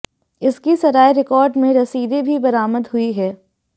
इसकी सराय रिकार्ड में रसीदें भी बरामद हुई हैं